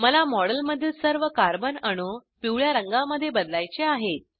मला मॉडेलमधील सर्व कार्बन अणू पिवळ्या रंगामध्ये बदलायचे आहेत